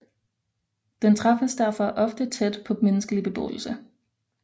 Den træffes derfor ofte tæt på menneskelig beboelse